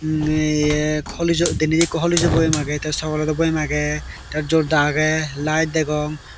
iye danaydi eko horligso ow boyem agey te sogolejo boyem aagey te jorda agey light degong.